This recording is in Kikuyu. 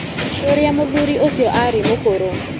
ũrĩa mũthuri ũcio arĩ mũkũrũ